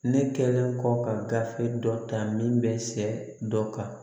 Ne kɛlen kɔ ka gafe dɔ ta min bɛ se dɔ kan